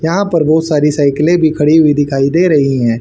यहां पर बहुत सारी साइकिले भी खड़ी हुई दिखाई दे रही है।